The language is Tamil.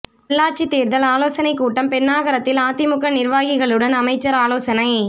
உள்ளாட்சித் தோ்தல் ஆலோசனைக் கூட்டம் பென்னாகரத்தில் அதிமுக நிா்வாகிகளுடன் அமைச்சா் ஆலோசனை